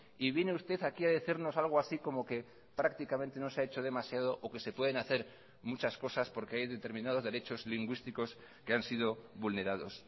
y viene usted aquí a decirnos algo así como que prácticamente no se ha hecho demasiado o que se pueden hacer muchas cosas porque hay determinados derechos lingüísticos que han sido vulnerados